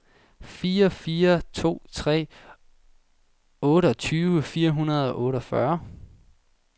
fire fire to tre otteogtyve fire hundrede og otteogfyrre